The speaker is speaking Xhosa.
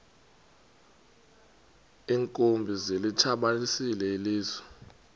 iinkumbi zilitshabalalisile ilizwe